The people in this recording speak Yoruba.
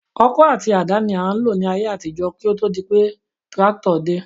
Ọkọ́ àti àdá ni a ń lò ní ayé àtijọ́ kí ó tó di wípé tírákítọ̀ dé